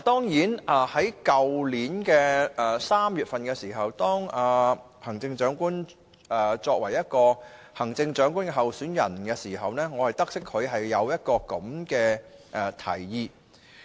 去年3月行政長官仍是行政長官候選人時，我得悉她有這樣的提議。